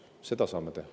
Seda me saame teha.